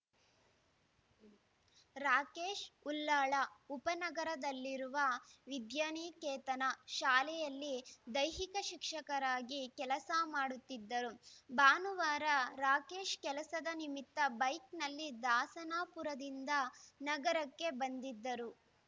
ರಾಕೇಶ್‌ ಉಲ್ಲಾಳ ಉಪನಗರದಲ್ಲಿರುವ ವಿದ್ಯಾನಿಕೇತನ ಶಾಲೆಯಲ್ಲಿ ದೈಹಿಕ ಶಿಕ್ಷಕರಾಗಿ ಕೆಲಸ ಮಾಡುತ್ತಿದ್ದರು ಭಾನುವಾರ ರಾಕೇಶ್‌ ಕೆಲಸದ ನಿಮಿತ್ತ ಬೈಕ್‌ನಲ್ಲಿ ದಾಸನಪುರದಿಂದ ನಗರಕ್ಕೆ ಬಂದಿದ್ದರು